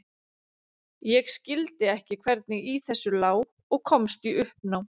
Ég skildi ekki hvernig í þessu lá og komst í uppnám.